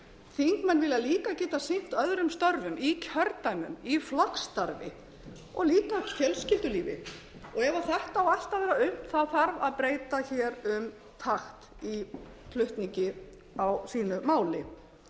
þingmenn vilja líka geta sinnt öðrum störfum í kjördæmum í flokksstarfi og líka í fjölskyldulífi ef þetta á allt að vera unnt þarf að breyta um takt í flutningi á sínu máli